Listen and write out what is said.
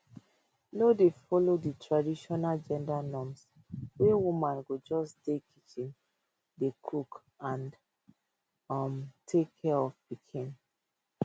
no dey follow di traditional gender norms wey woman go just dey kitchen dey cook and um take care of pikin